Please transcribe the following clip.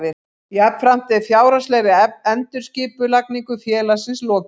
Jafnframt er fjárhagslegri endurskipulagningu félagsins lokið